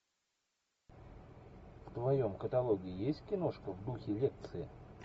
в твоем каталоге есть киношка в духе лекции